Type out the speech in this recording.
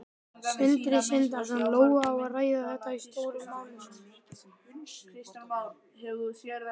Sindri Sindrason: Lóa, á að ræða þetta í Stóru málunum?